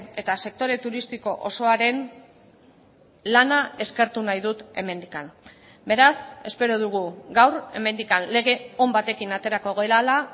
eta sektore turistiko osoaren lana eskertu nahi dut hemendik beraz espero dugu gaur hemendik lege on batekin aterako garela